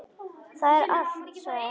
Það er allt, sagði hann.